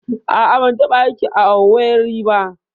A'a, ban taɓa yin aiki a Owerri ba.